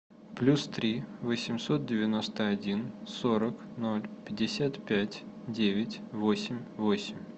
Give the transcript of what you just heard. плюс три восемьсот девяносто один сорок ноль пятьдесят пять девять восемь восемь